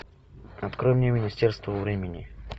открой мне министерство времени